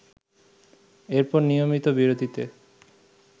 এরপর নিয়মিত বিরতিতে